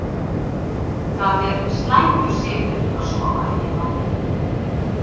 það er slæmur siður að sofa ekki nóg